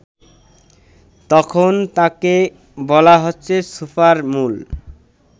তখন তাকে বলা হচ্ছে সুপারমুন